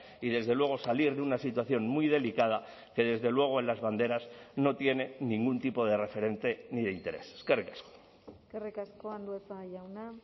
y desde luego salir de una situación muy delicada que desde luego en las banderas no tiene ningún tipo de referente ni de interés eskerrik asko eskerrik asko andueza jauna